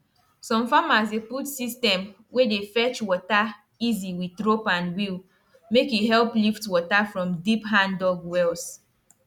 people wey sabi soil matter for area dey do small small hill for ground if den want sorghum to survive